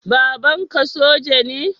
Babanka soja ne?